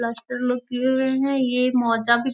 Plaster लोग किए हुए हैं। ये मोजा भी --